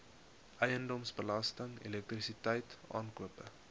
eiendomsbelasting elektrisiteit aankope